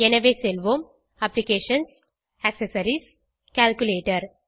எனவே செல்வோம் applications accessories calculator